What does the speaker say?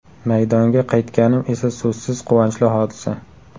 Maydonga qaytganim esa so‘zsiz quvonchli hodisa.